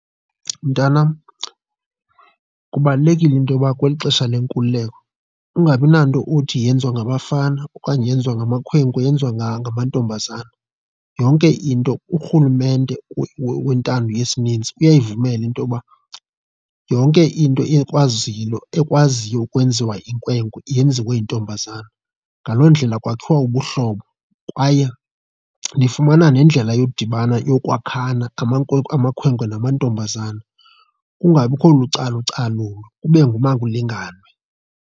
Mntanam kubalulekile into yoba kweli xesha lenkululeko ukungabi nanto othi yenziwa ngabafana okanye yenziwa ngamakhwenkwe yenziwa ngamantombazana. Yonke into urhulumente wentando yesininzi uyayivumela into yoba yonke into ekwaziyo ukwenziwa yinkwenkwe yenziwe yintombazana, ngaloo ndlela kwakhiwa ubuhlobo kwaye nifumana nendlela yodibana yokwakhana amakhwenkwe namantombazana kungabikho lucalucalulo, kube ngumakulinganwe.